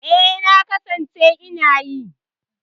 E, na kasance ina yi.